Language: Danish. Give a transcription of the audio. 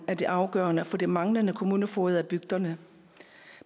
er det afgørende for de manglende kommunefogeder i bygderne